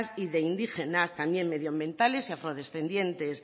y de indígenas también medioambientales y afro descendientes